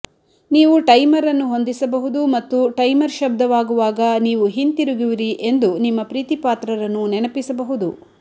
ನೀವು ಟೈಮರ್ ಅನ್ನು ಹೊಂದಿಸಬಹುದು ಮತ್ತು ಟೈಮರ್ ಶಬ್ದವಾಗುವಾಗ ನೀವು ಹಿಂತಿರುಗುವಿರಿ ಎಂದು ನಿಮ್ಮ ಪ್ರೀತಿಪಾತ್ರರನ್ನು ನೆನಪಿಸಬಹುದು